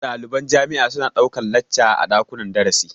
Ɗaliban jami'a su na ɗaukan lacca a ɗakunnan darasi